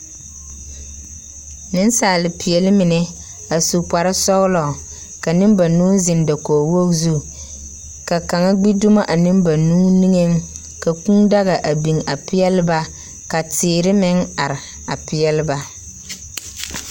nesaalepeɛle mine, a su kparesɔgelɔ, ka nimbanuu zeŋ dakogiwogi zu ka kaŋa gbi dumo a nembanuu niŋeŋ, ka kũũ dga a biŋ a peɛle ba. Ka teere meŋ are a peɛle ba.